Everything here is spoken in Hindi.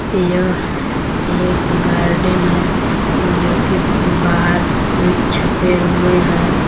यह एक गार्डन है जोकि बाहर कुछ छपे हुए हैं।